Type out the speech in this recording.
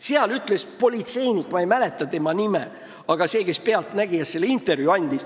"Pealtnägijas" andis intervjuu üks politseinik, kelle nime ma ei mäleta.